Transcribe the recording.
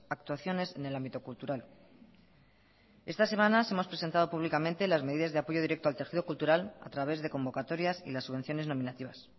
actuaciones en el ámbito cultural estas semanas hemos presentado públicamente las medidas de apoyo directo al tejido cultural a través de convocatorias y las subvenciones nominativas